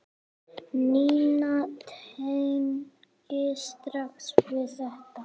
Nína tengir strax við þetta.